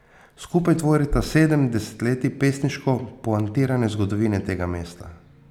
Skupaj tvorita sedem desetletij pesniško poantirane zgodovine tega mesta.